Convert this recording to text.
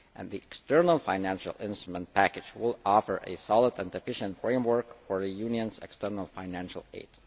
The external financial instrument package will offer a solid and efficient framework for the Union's external financial aid.